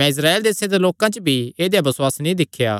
मैं इस्राएल देसे दे लोकां च भी ऐदेया बसुआस नीं दिख्या